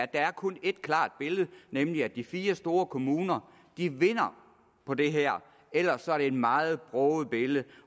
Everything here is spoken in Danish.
der kun er ét klart billede nemlig at de fire store kommuner vinder på det her ellers er det et meget broget billede